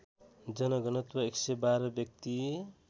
जनघनत्व ११२ व्यक्ति